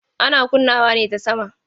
Ana kunnawa ne ta sama.